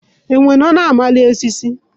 Enwe nọ na-amali osisi.